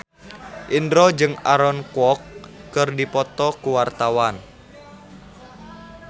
Indro jeung Aaron Kwok keur dipoto ku wartawan